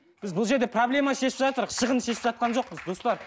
біз бұл жерде проблеманы шешіп шығынды шешіп жатқан жоқпыз достар